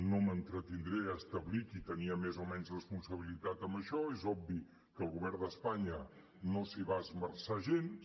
no m’entretindré a establir qui tenia més o menys responsabilitat en això és obvi que el govern d’espanya no s’hi va esmerçar gens